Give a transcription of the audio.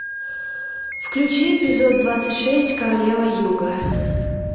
включи эпизод двадцать шесть королева юга